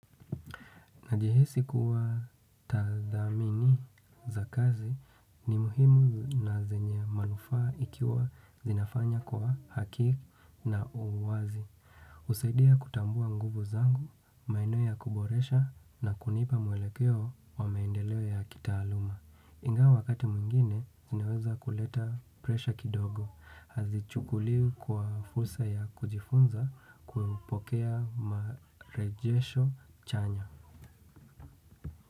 Najihisi kuwa tathamini za kazi ni muhimu na zenye manufaa ikiwa zinafanya kwa hakiki na uwazi. Husaidia kutambua nguvu zangu, maeneo ya kuboresha na kunipa mwelekeo wa maendeleo ya kitaaluma. Ingawa wakati mwingine, zinaweza kuleta presha kidogo. Hazichukuli kwa fursa ya kujifunza kuupokea marejesho chanya.